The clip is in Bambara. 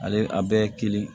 Ale a bɛɛ ye kelen